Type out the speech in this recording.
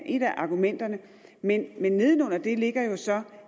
et af argumenterne men nede under det ligger så